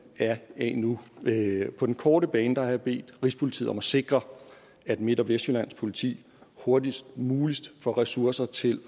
af nu på den korte bane har jeg bedt rigspolitiet om at sikre at midt og vestjyllands politi hurtigst muligt får ressourcer til